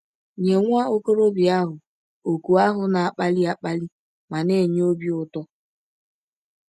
Nye nwa ọkọrọbịa ahụ, òkù ahụ na - akpali akpali ma na - enye ọbi ụtọ!